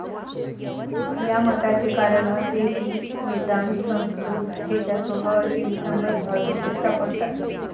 या मताचे कारण असे की, वेदांत संस्कृत भाषेच्या स्वभावाशी विसंगत भावविशेष सापडतात.